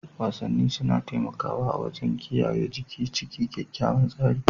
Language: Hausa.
Wasanni suna taimakawa wajen kiyaye jiki cikin kyakkyawan tsari.